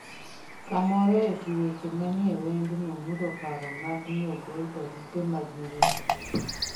kamoro eti weche mani ei wendno mulo paro mag niogol barupe mag miriambo